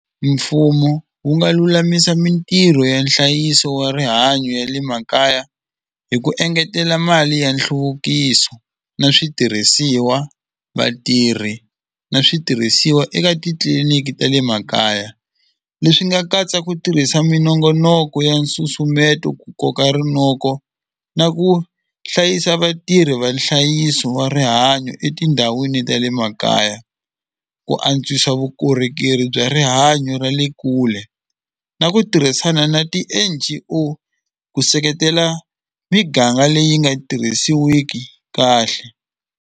Mfumo wu nga lulamisa mintirho ya nhlayiso wa rihanyo ya le makaya hi ku engetela mali ya nhluvukiso na switirhisiwa vatirhi na switirhisiwa eka titliliniki ta le makaya leswi nga katsa ku tirhisa minongonoko ya nsusumeto ku koka rinoko na ku hlayisa vatirhi va nhlayiso wa rihanyo etindhawini ta le makaya ku antswisa vukorhokeri bya rihanyo ra le kule na ku tirhisana na ti-N_G_O ku seketela miganga leyi nga tirhisiwiki kahle.